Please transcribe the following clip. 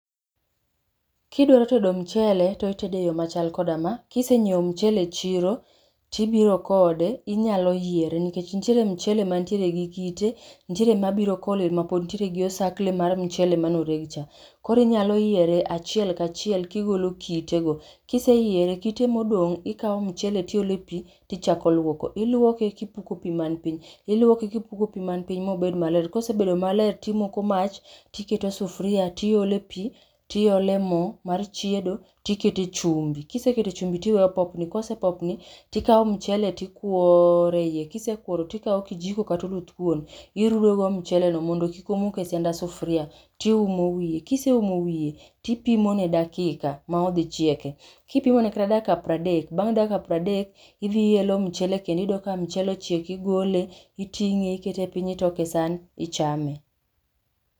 Kidwaro tedo mchele to itede e chal koda ma. Kisengiew mchele e chiro tibiro kode inyalo yiere nikech nitiere mchele mantiere gi kite, nitiere mabiro kolil mapod ntiere gi osakle mar mchele emane oreg cha, koro inyalo yiere achiel ka chiel kigolo kite go, kiseyiere, kit emoduong tikao mchele tioloe pi tichako luoko, iluoke kipuko pii man piny, iluoke kipuko pii man piny mobed maler, kosebedo malet timoko mach, tiketo sufria, tiole pii, tiole moo mar chiedo tikete chumbi. Kiseketo chumbi tiwe popni, kosepopni tikao mchele tikuoroe iye, kisekuoro tikao kijikokata oluth kuon tirudo go mchele no mondo kik omok e sianda sufria tiumo wiye. Kiseumo wiye tipimo ne dakika ma odhi chieke, kipimone kata dakika pradek, bang dakika pradek idhi iyelo mchele e kendo iyudo ka mchele ochiek, igole, itinge ikete piny, itoke e san, ichame